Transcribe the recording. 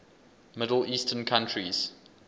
middle eastern countries